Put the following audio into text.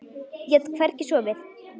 Ég get hvergi sofið.